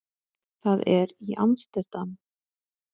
Það er í Amsterdam.